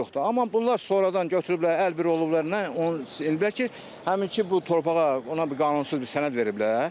Amma bunlar sonradan götürüblər, əlbir olublar, nə onun deyiblər ki, həminki bu torpağa ona bir qanunsuz bir sənəd veriblər.